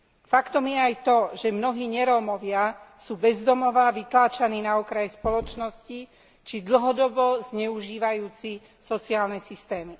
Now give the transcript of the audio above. Faktom je aj to, že mnohí nerómovia sú bez domova a vytláčaní na okraj spoločnosti či dlhodobo zneužívajúci sociálne systémy.